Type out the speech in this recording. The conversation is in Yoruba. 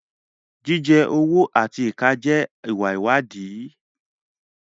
Jíjẹ ọwọ́ àti ìka jẹ́ ìwà ìwádìí.